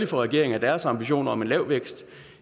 for regeringen at deres ambitioner om en lav vækst